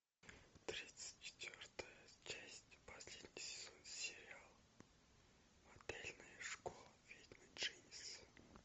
тридцать четвертая часть последний сезон сериал модельная школа ведьмы дженис